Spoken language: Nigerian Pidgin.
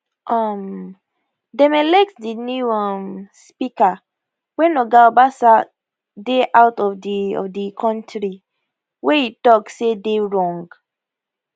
um dem elect di new um speaker wen oga obasa dey out of di of di kontri wey e tok say dey wrong